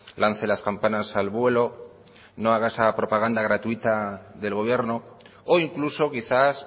lance las campanas al vuelo no haga esa propaganda gratuita del gobierno o incluso quizás